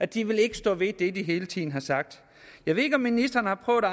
de vil ikke stå ved det de hele tiden har sagt jeg ved ikke om ministeren har prøvet at